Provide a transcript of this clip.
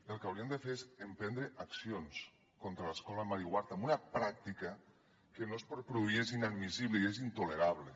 el que hauríem de fer és emprendre accions contra l’escola mary ward amb una pràctica que no és pròpia i és inadmissible i és intolerable